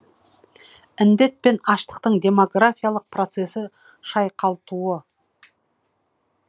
індет пен аштықтың демографиялық процесі шайқалтуы